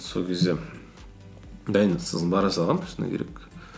сол кезде дайынсыз бара салғанмын шыны керек